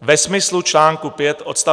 ve smyslu článku 5 odst.